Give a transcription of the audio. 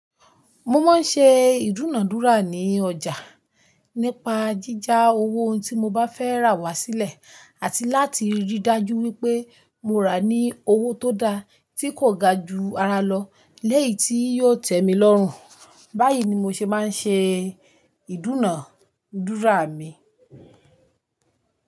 Mo máa ń ṣe ìdúnàádúrà ní ọjà nípa jíjà owó ohun tí mo bá fẹ́ rà wá sílẹ̀, àti láti rí dájú wípé mo rà ní owó tó dá tí kò ga ju ara lọ léyìí tí yóò tẹ mi lọ́rùn. Báyìí ni mo ṣe máa ń ṣe ìdúnàádúrà mi.